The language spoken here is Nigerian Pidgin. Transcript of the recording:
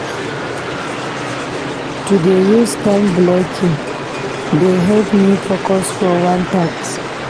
To dey use time-blocking dey help me focus for one task.